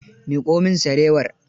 Miƙo min sarewar.